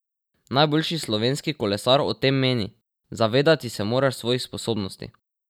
Najboljši slovenski kolesar o tem meni: "Zavedati se moraš svojih sposobnosti.